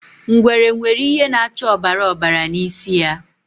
Ngwere nwere ihe na-acha ọbara ọbara n'isi ya.